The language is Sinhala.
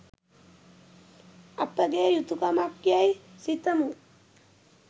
අපගේ යුතුකමක්යැයි සිතමු